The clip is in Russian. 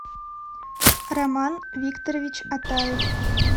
роман викторович атаев